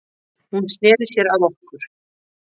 Hún sneri sér að okkur